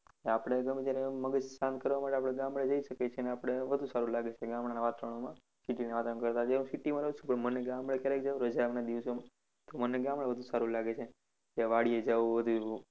આપણે ગમે ત્યારે આમ મગજ શાંત કરવા માટે આપણે ગામડે જઈએ શકીએ છીએ. અને આપણે વધુ સારુ લાગે છે. ગામડાના વાતાવરણમાં city ના વાતાવરણ કરતા જેમ city માં રાહુ છુ તો મને ગામડે ક્યારેક રજાના દિવસે તો મને ગામડે વધુ સારુ લાગે છે. કે વાડીએ જવું બધું.